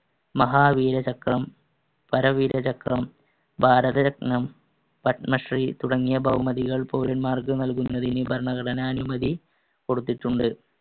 മഹാവീരചക്രം, പരംവീരചക്രം, ഭാരതരത്നം, പദ്‌മശ്രീ തുടങ്ങിയ ബഹുമതികൾ പൗരന്മാർക്ക് നൽകുന്നതിന് ഭരണഘടന അനുമതി കൊടുത്തിട്ടുണ്ട്.